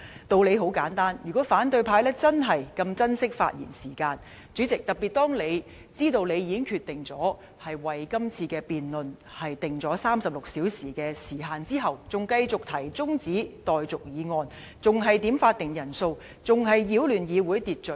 道理很簡單，如果反對派真的這麼珍惜發言時間，主席，特別是當他們知道，你已經決定為這次辯論定下36小時的時限後，仍繼續提出中止待續議案、點算法定人數、擾亂議會秩序。